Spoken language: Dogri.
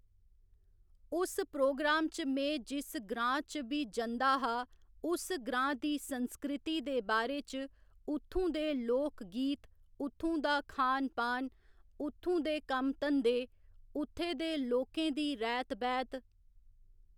उस प्रोग्राम च में जिस ग्रांऽ च बी जदां हा उस ग्रांऽ दी संस्कृति दे बारे च, उत्थूं दे लोक गीत, उत्थूं दा खान पान, उत्थूं दे कम्म धंदे, उत्थे दे लोकें दी रैह्‌त बैह्‌त